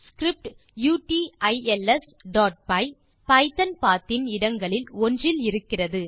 script utilsபை python path இன் இடங்களில் ஒன்றில் இருக்கிறது